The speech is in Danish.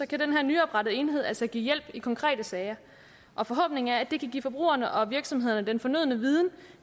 kan den her nyoprettede enhed altså give hjælp i konkrete sager og forhåbningen er at det kan give forbrugerne og virksomhederne den fornødne viden